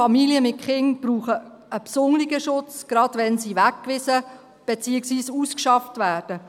Familien mit Kindern brauchen einen besonderen Schutz, gerade wenn sie weggewiesen, beziehungsweise ausgeschafft werden.